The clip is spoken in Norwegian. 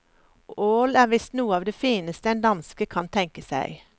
Ål er visst noe av det fineste en danske kan tenke seg.